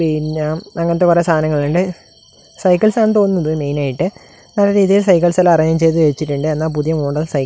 പിന്നെ അങ്ങനത്തെ കുറെ സാധനങ്ങളുണ്ട് സൈക്കിൾസ് ആണെന്ന് മെയിൻ ആയിട്ട് നല്ല രീതിയിൽ സൈക്കിൾസ് എല്ലാം അറേഞ്ച് ചെയ്ത് വെച്ചിട്ടുണ്ട് എന്നാൽ പുതിയ മോഡൽ സൈക്കിൾ --